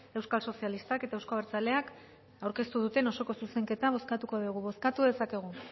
euskal sozialistak eta euzko abertzaleak aurkeztu duten osoko zuzenketa bozkatuko dugu bozkatu dezakegu